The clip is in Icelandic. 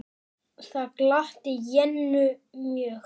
Það gladdi Jennu mjög.